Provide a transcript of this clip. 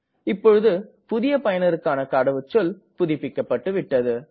இப்பொழுது புதிய பயனருக்கான கடவுச்சொல் புதுப்பிக்கப்பட்டது